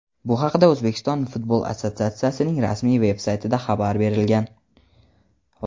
Bu haqda O‘zbekiston futbol assotsiatsiyasining rasmiy veb-saytida xabar berilgan.